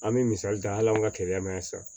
An bɛ misali ta hali anw ka kemɛn sa